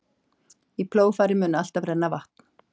Í plógfarið mun alltaf renna vatn.